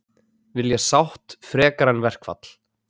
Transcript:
Vilja sátt frekar en verkfall